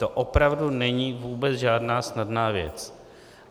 To opravdu není vůbec žádná snadná věc.